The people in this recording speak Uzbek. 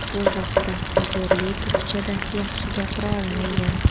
Bu vaqtda Uzerli turkchada yaxshi gapira olmaygan.